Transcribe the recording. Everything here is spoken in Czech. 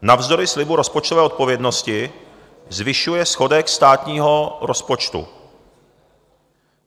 Navzdory slibu rozpočtové odpovědnosti zvyšuje schodek státního rozpočtu.